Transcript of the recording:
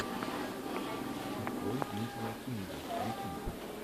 открой дмитрия кинга ютьюб